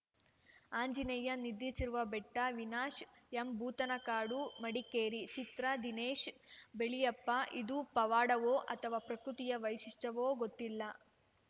ಆಂಜನೇಯ ನಿದ್ರಿಸಿರುವ ಬೆಟ್ಟ ವಿನಶ್‌ ಎಂ ಭೂತನಕಾಡು ಮಡಿಕೇರಿ ಚಿತ್ರ ದಿನೇಶ್‌ ಬೆಳ್ಯಪ್ಪ ಇದು ಪವಾಡವೋ ಅಥವಾ ಪ್ರಕೃತಿಯ ವೈಶಿಷ್ಟ್ಯವೋ ಗೊತ್ತಿಲ್ಲ